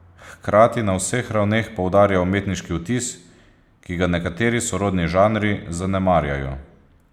Hkrati na vseh ravneh poudarja umetniški vtis, ki ga nekateri sorodni žanri zanemarjajo.